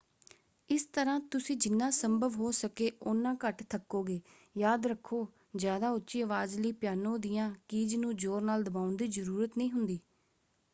ਇਸ ਤਰ੍ਹਾਂ ਤੁਸੀਂ ਜਿਨ੍ਹਾਂ ਸੰਭਵ ਹੋ ਸਕੇ ਉਨ੍ਹਾਂ ਘੱਟ ਥੱਕੋਗੇ। ਯਾਦ ਰੱਖੋ ਜ਼ਿਆਦਾ ਉੱਚੀ ਅਵਾਜ਼ ਲਈ ਪਿਆਨੋ ਦੀਆਂ ਕੀਜ਼ ਨੂੰ ਜ਼ੋਰ ਨਾਲ ਦਬਾਉਣ ਦੀ ਜ਼ਰੂਰਤ ਨਹੀਂ ਹੁੰਦੀ।